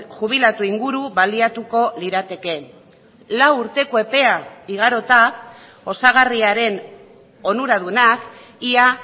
jubilatu inguru baliatuko lirateke lau urteko epea igarota osagarriaren onuradunak ia